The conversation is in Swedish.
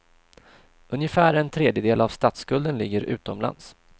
Ungefär en tredjedel av statsskulden ligger utomlands.